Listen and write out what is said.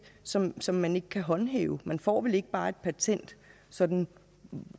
som som man ikke kan håndhæve man får vel ikke bare et patent sådan